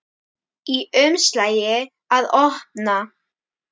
Í umslagi að opna.